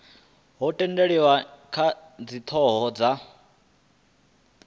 ho tendelaniwa kha dzithoho dza